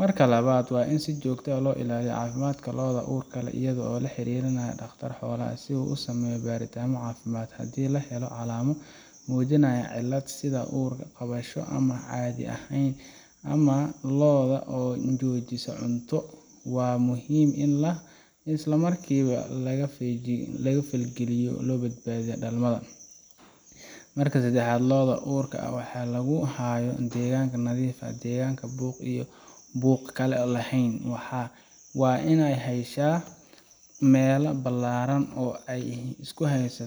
marka lawad wa in si jogta ah loilaliyo cafimadka looda urka leh iyado laharirinayo dagtar xoolaha si uu usameyo batitamo cafimad, hadhi lahelo calamo mujinayo in ur cabasho ama cadhi ahayen ama looda oo jojisa cunta wa muxiim in ismarkiba in lagafalgaliyo labadbadiyo dalmada, marka sadaxad looda urka leh waxa laguhaya degan nadiif ah degan buug lahen, wa in ay hesha mela bilaraan oo.